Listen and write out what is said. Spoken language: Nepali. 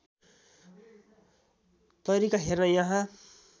तरिका हेर्न यहाँ